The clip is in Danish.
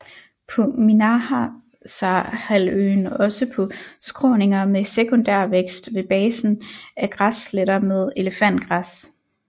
På Minahasahalvøen også på skråninger med sekundærvækst ved basen avf græsletter med elefantgræs